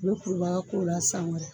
U bɛ kuru ba ka kuru la san wɛrɛ.